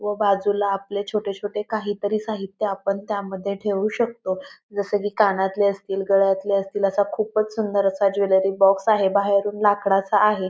व बाजूला आपले छोटे छोटे काही तरी साहित्य आपण त्यामध्ये ठेवू शकतो. जस की कानंतले असतील गळ्यातले असतील असा खूपच सुंदर असा ज्वेलरी बॉक्स आहे. बाहेरून लाकडाचा आहे.